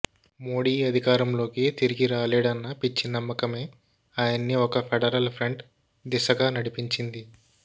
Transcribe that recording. మోడీ అధికారంలోకి తిరిగి రాలేడన్న పిచ్చి నమ్మకమే ఆయన్ని ఒక ఫెడరల్ ఫ్రంట్ దిశగా నడిపించింది